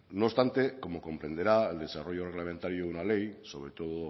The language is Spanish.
no obstante como comprenderá el desarrollo reglamentario de una ley sobre todo